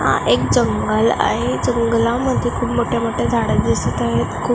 हा एक जंगल आहे जंगलामध्ये खूप मोठे मोठे झाडे दिसत आहेत खुप--